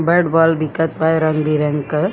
Bat ball दिखत बै रंग बिरंग कै।